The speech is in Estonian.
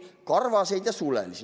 "Karvaseid ja sulelisi".